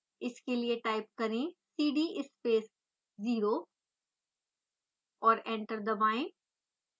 इसके लिए टाइप करें cd space 0 और एंटर दबाएं